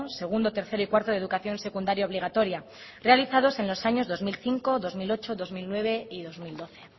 segundo tercero y cuarto de educación secundaria obligatoria realizados en los años dos mil cinco dos mil ocho dos mil nueve y dos mil doce